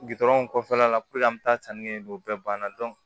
Gudɔrɔnw kɔfɛla la puruke an be taa sanni kɛ n'o bɛɛ banna